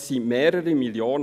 Es sind mehrere Millionen.